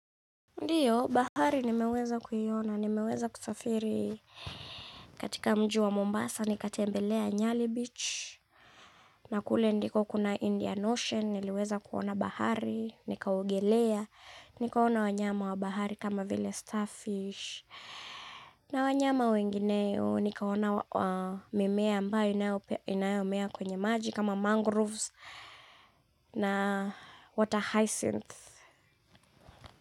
Ndiyo, bahari nimeweza kuiona nimeweza kusafiri katika mji wa Mombasa nikatembelea Nyali beach na kule ndiko kuna Indian ocean niliweza kuona bahari nikaogelea nikaona wanyama wa bahari kama vile starfish na wanyama wengineyo nikawaona mimea ambayo inayomea kwenye maji kama mangroves na water hyacinth.